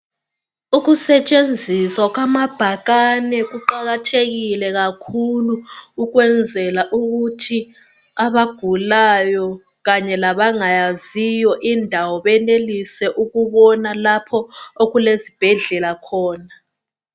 Ukusetshenziswa kwamabhakane kuqakathekile kakhulu ukwenzela ukuthi abagulayo kanye labangayaziyo indawo benelise ukubona lapho okulezibhedlela khona.